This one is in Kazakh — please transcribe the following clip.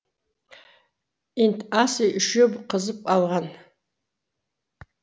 инт ас үй үшеуі қызып алған